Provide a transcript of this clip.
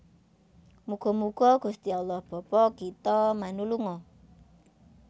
Muga muga Gusti Allah Bapa Kita manulunga